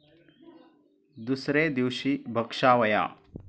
दुसरे दिवशी भक्षावया ॥